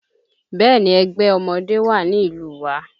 Bẹ́ẹ̀ni ẹgbẹ́ ọmọdé wà ní ìlú wa